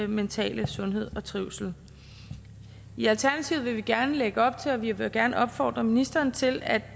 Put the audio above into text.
mentale sundhed og trivsel i alternativet vil vi gerne lægge op til og vi vil gerne opfordre ministeren til at